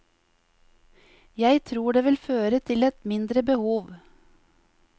Jeg tror det vil føre til et mindre behov.